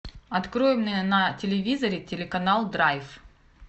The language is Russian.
открой мне на телевизоре телеканал драйв